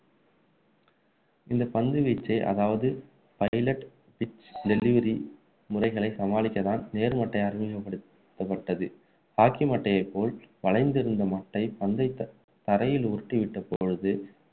இந்த பந்து வீச்சு அதாவது pilot pitch delivery முறைகளை சமாளிக்கதான் நேர்மட்டை அறிமுகப்படுத்தப்பட்டது hocky மட்டையை போல் வளைந்திருந்த மட்டை பந்தை த~ தரையில் உருட்டி விட்ட பொழுது